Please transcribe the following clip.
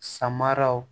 Samaraw